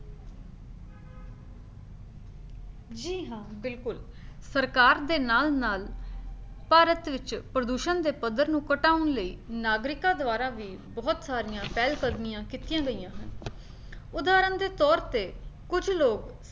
ਜੀ ਹਾਂ ਬਿਲਕੁਲ, ਸਰਕਾਰ ਦੇ ਨਾਲ ਨਾਲ ਭਾਰਤ ਵਿੱਚ ਪ੍ਰਦੂਸ਼ਣ ਦੇ ਪੱਧਰ ਨੂੰ ਘਟਾਉਣ ਲਈ ਨਾਗਰਿਕਾਂ ਦੁਆਰਾ ਵੀ ਬਹੁਤ ਸਾਰੀਆਂ ਪਹਿਲ ਕਦਮੀਆਂ ਕੀਤੀਆਂ ਗਈਆਂ ਹਨ ਉਦਾਹਰਣ ਦੇ ਤੌਰ ਤੇ ਕੁੱਝ ਲੋਕ